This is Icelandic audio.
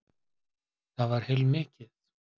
Það var heilmikið.